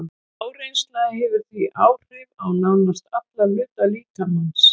Áreynsla hefur því áhrif á nánast alla hluta líkamans.